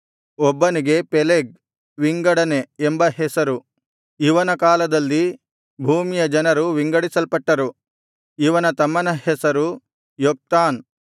ಏಬೆರನಿಗೆ ಇಬ್ಬರು ಮಕ್ಕಳು ಹುಟ್ಟಿದರು ಒಬ್ಬನಿಗೆ ಪೆಲೆಗ್ ವಿಂಗಡನೆ ಎಂಬ ಹೆಸರು ಇವನ ಕಾಲದಲ್ಲಿ ಭೂಮಿಯ ಜನರು ವಿಂಗಡಿಸಲ್ಪಟ್ಟರು ಇವನ ತಮ್ಮನ ಹೆಸರು ಯೊಕ್ತಾನ್